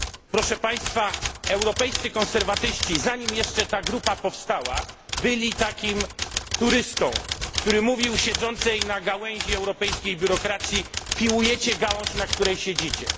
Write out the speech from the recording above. Proszę państwa, Europejscy Konserwatyści, zanim jeszcze ta grupa powstała, byli takim turystą, który mówił siedzącej na gałęzi europejskiej biurokracji piłujecie gałąź, na której siedzicie.